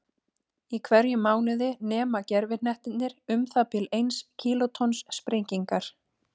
Í hverjum mánuði nema gervihnettirnir um það bil eins kílótonns sprengingar.